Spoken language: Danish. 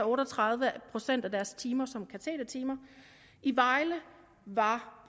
otte og tredive procent af deres timer som katedertimer i vejle var